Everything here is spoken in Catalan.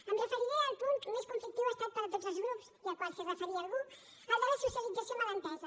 em referiré al punt més conflictiu ho ha estat per a tots els grups i al qual es referia algú el de la socialització mal entesa